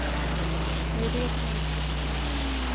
Det är det som är det komiska med dem.